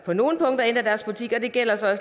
på nogle punkter og det gælder så